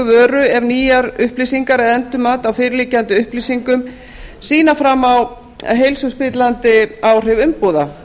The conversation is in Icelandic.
vöru ef nýjar upplýsingar eða endurmat á fyrirliggjandi upplýsingum sýna fram á heilsuspillandi áhrif umbúða